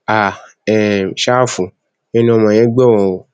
háà um ṣáfù ẹnu ọmọ yẹn gbọrọ o